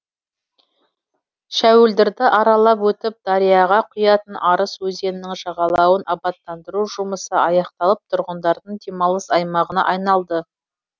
шәуілдірді аралап өтіп дарияға құятын арыс өзенінің жағалауын абаттандыру жұмысы аяқталып тұрғындардың демалыс аймағына айналды